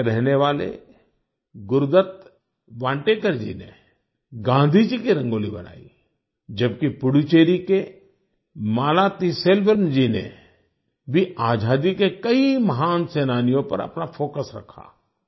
गोवा के रहने वाले गुरुदत्त वान्टेकर जी ने गांधी जी की रंगोली बनाई जबकि पुदुचेरी के मालातिसेल्वम जी ने भी आजादी के कई महान सेनानियों पर अपना फोकस रखा